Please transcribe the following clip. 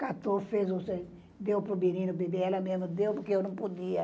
Catou fez deu para o menino beber, ela mesmo deu porque eu não podia.